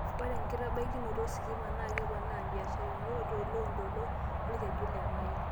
Ore enkitabaikinoto ositima naa keponaa mbiasharani toloontoluo lolkeju le Nile